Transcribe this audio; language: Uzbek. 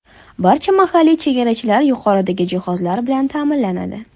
Barcha mahalliy chegarachilar yuqoridagi jihozlar bilan ta’minlanadi.